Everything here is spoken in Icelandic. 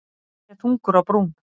Kennarinn er þungur á brún.